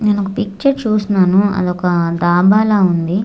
నేనొక పిక్చర్ చూస్తున్నాను అదొక డాబాలా ఉంది.